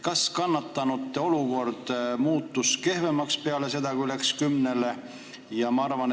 Kas kannatanute olukord muutus kehvemaks peale seda, kui mindi kümne aasta peale üle?